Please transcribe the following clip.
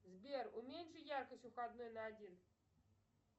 сбер уменьши яркость у входной на один